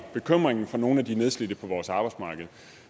bekymringen for nogle af de nedslidte på vores arbejdsmarked